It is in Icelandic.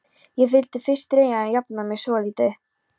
Ég vildi fyrst reyna að jafna mig svolítið.